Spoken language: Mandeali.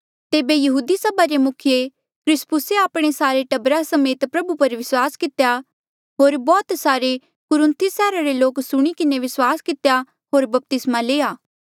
तेबे यहूदी सभा रे मुखिये क्रिस्पुसे आपणे सारे टब्बरा समेत प्रभु पर विस्वास कितेया होर बौह्त सारे कुरिन्थुस सैहरा रे लोके सुणी किन्हें विस्वास कितेया होर बपतिस्मा लिया